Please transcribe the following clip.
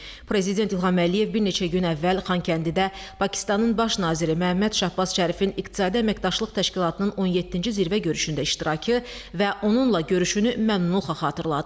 Prezident İlham Əliyev bir neçə gün əvvəl Xankəndidə Pakistanın baş naziri Məhəmməd Şahbaz Şərifin İqtisadi Əməkdaşlıq Təşkilatının 17-ci Zirvə görüşündə iştirakı və onunla görüşünü məmnunluqla xatırlatdı.